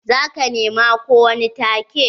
Za ka nema ko wani take?